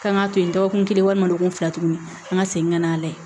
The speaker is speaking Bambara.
K'an ka to yen dɔgɔkun walima dɔgɔkun fila tuguni an ka segin ka n'a lajɛ